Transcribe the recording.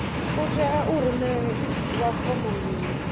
hu tea u rumelwa fomo mbili